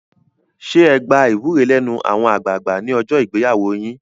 Ṣé ẹ gba ìwúre lẹ́nu àwọn àgbààgbà ní ọjọ́ ìgbéyàwó yín?